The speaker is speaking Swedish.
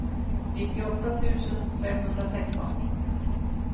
nittioåtta tusen femhundrasexton